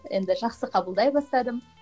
енді жақсы қабылдай бастадым